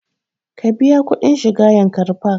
Ka biya kuɗin shiga yankari park!